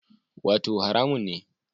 Wato haramun ne